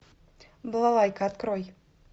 балалайка открой